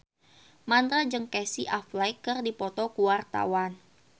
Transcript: Mandra jeung Casey Affleck keur dipoto ku wartawan